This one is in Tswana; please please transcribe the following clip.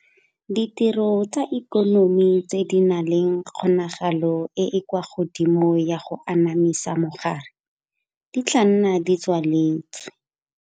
Ditiro tsa ikonomi tse di nang le kgonagalo e e kwa godimo ya go anamisa mogare di tla nna di tswaletswe.